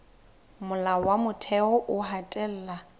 molao wa motheo o hatella